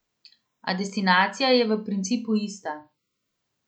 A destinacija je v principu ista.